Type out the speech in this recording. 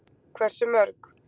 Hversu mörg?